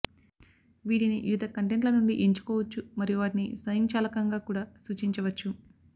వీటిని వివిధ కంటెంట్ ల నుండి ఎంచుకోవచ్చు మరియు వాటిని స్వయంచాలకంగా కూడా సూచించవచ్చు